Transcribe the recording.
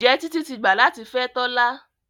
Njé Titi tí gbà latí fè Tola?